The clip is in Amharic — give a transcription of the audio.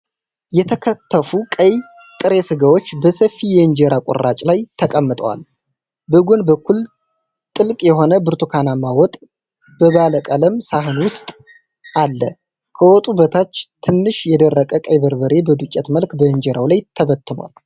የተከተፉ ቀይ ጥሬ ሥጋዎች በሰፊ የእንጀራ ቁራጭ ላይ ተቀምጠዋል። በጎን በኩል ጥልቅ የሆነ ብርቱካንማ ወጥ በባለቀለም ሳህን ውስጥ አለ። ከወጡ በታች ትንሽ የደረቀ ቀይ በርበሬ በዱቄት መልክ በእንጀራው ላይ ተበትኗል።